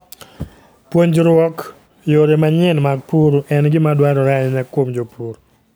Puonjruok yore manyien mag pur en gima dwarore ahinya kuom jopur.